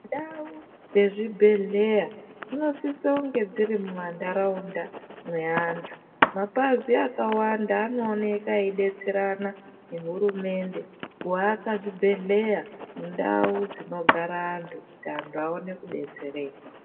Ndau dzezvibhedhlera dzinofanirwa kunge dziri mumandaraunda eantu mapazi akawanda anooneka eidetserana nehurumende kuwaka zvibhedhlera mundau dzinogara antu kuti antu aone kudetsereka.